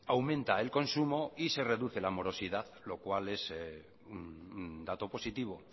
aumenta el consumo y se reduce la morosidad lo cual es un dato positivo